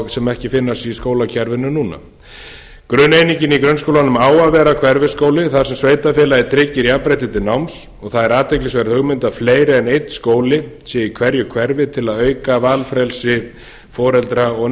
sem ekki finnast í skólakerfinu núna grunneiningin í hverfisskólunum á að vera hverfisskóli þar sem sveitarfélagið tryggir jafnrétti til náms og það er athyglisverð hugmynd að fleiri en einn skóli sé í hverju hverfi til að auka valfrelsi foreldra og